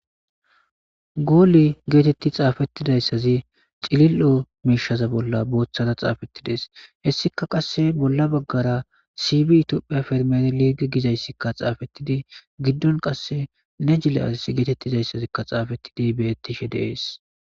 Goole geetetti xaafettida issazi cililo miishaza bolla booththada xaafetti dees .He issika qasse bolla baggara siybi itiyophiya fermadi liigi giza issikka xaafettidi giddon qasse negele asas geetettiza issazikka xaafettidi beyttishe dees.